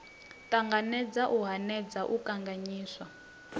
ṱanganedza u hanedza u kanganyisa